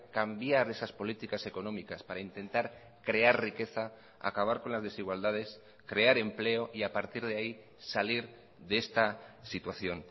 cambiar esas políticas económicas para intentar crear riqueza acabar con las desigualdades crear empleo y a partir de ahí salir de esta situación